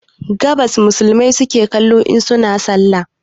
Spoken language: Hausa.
Gabas musulmai suke kallo in suna sallah